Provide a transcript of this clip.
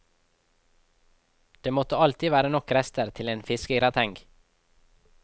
Det måtte alltid være nok rester til en fiskegrateng.